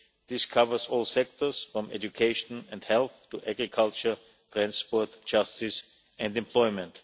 This covers all sectors, from education and health, to agriculture, transport, justice and employment.